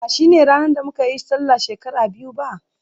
ba shine ranar da muka yi Sallah shekara biyu ba